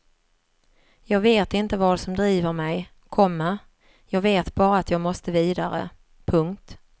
Jag vet inte vad som driver mig, komma jag vet bara att jag måste vidare. punkt